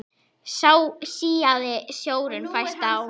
Síaði sjórinn fæst á